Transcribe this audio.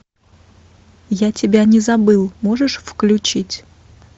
я тебя не забыл можешь включить